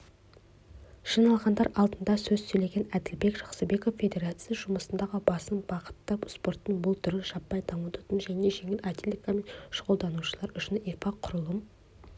жиналғандар алдында сөз сөйлеген әділбек жақсыбеков федерация жұмысындағы басым бағытты спорттың бұл түрін жаппай дамытудан және жеңіл атлетикамен шұғылданушылар үшін инфрақұрылым